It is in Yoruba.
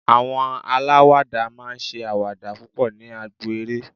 àwọn alawada ma n ṣe awada púpò ní agbo eré